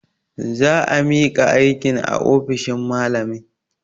Za a miƙa aikin a ofishin malamin.